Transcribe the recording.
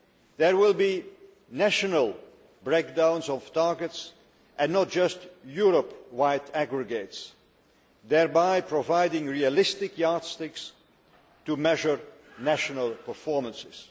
There will be national breakdowns of targets, and not just Europe wide aggregates, thereby providing realistic yardsticks to measure national performances.